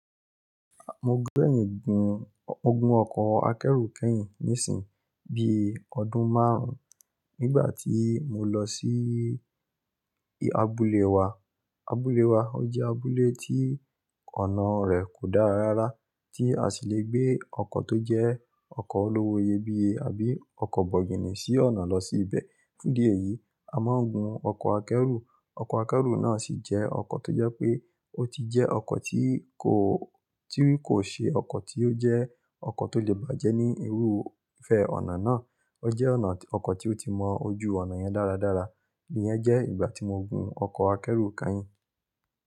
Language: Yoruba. Mo gbẹ́yìn gun-- mo gun ọkọ̀ akẹ́rù kẹ́yìn nísìn, bí ọdún márùn-ún nígbà tí mo lọ sí abúlé wa. Abúlé wa, ó jẹ́ abúlé tí ọ̀nà rẹ̀ kò dára rárá, tí a sì le gbé ọkọ̀ tó jẹ́ ọkọ̀ olówó iyebíye àbí ọkọ̀ bọ̀gìnì sí ọ̀nà lọ sí ibẹ̀. Fún idí èyí, a máa ń gun ọkọ̀ akẹ́rù. Ọkọ̀ akẹ́rù náà sì jẹ́ ọkọ̀ tó jẹ́ pé ó ti jẹ́ ọkọ̀ tí kò, tí kò ṣe ọkọ̀ tí ó jẹ́ ọkọ̀ tó lè bàjẹ́ ní irú ìfẹ́ ọ̀nà náà. Ó jẹ́ ọkọ̀ tí ó ti mọ ojú ọ̀nà yẹn dára dára. Iyẹn jẹ́ ìgbà tí mo gun ọkọ̀ akẹ́rù kányìn.